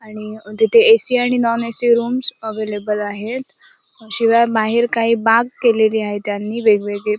आणि तिथे ए.सी. आणि नॉन ए.सी. रूम्स अव्हेलेबल आहेत शिवाय बाहेर काही बाग केलेली आहे त्यांनी वेगवेगळी.